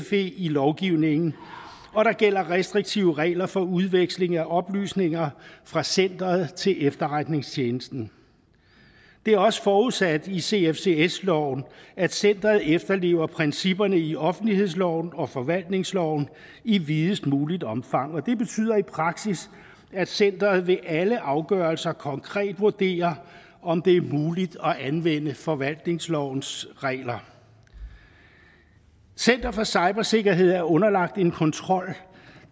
fe i lovgivningen og der gælder restriktive regler for udveksling af oplysninger fra centeret til efterretningstjenesten det er også forudsat i cfcs loven at centeret efterlever principperne i offentlighedsloven og forvaltningsloven i videst muligt omfang og det betyder i praksis at centeret ved alle afgørelser konkret vurderer om det er muligt at anvende forvaltningslovens regler center for cybersikkerhed er underlagt en kontrol